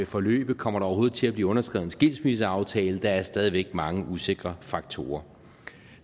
forløbe kommer der overhovedet til at blive underskrevet en skilsmisseaftale der er stadig væk mange usikkerhedsfaktorer